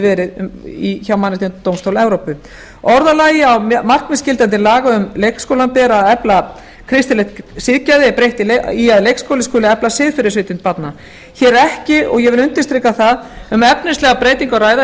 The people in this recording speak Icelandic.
verið hjá mannréttindadómstóli evrópu orðalagi á markmiðsgildi laga ber að efla kristilegt siðgæði er breytt í að leikskóli skuli efla siðferðisvitund barna hér er ekki og ég vil undirstrika það um efnislega breytingu að ræða